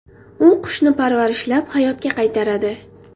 U qushni parvarishlab, hayotga qaytaradi.